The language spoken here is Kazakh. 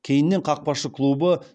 кейіннен қақпашы клубы